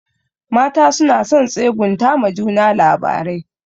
Mata suna son tsegunta ma juna labarai.